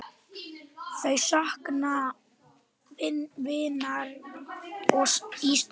Þau sakna vinar í stað.